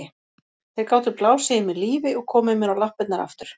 Þeir gátu blásið í mig lífi og komið mér á lappirnar aftur.